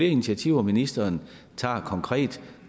initiativer ministeren tager konkret